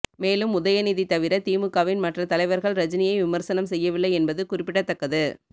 மேலும் உதயநிதி தவிர திமுகவின் மற்ற தலைவர்கள் ரஜினியை விமர்சனம் செய்யவில்லை என்பது குறிப்பிடத்தக்கது